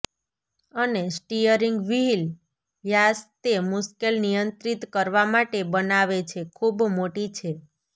અને steering wheel વ્યાસ તે મુશ્કેલ નિયંત્રિત કરવા માટે બનાવે છે ખૂબ મોટી છે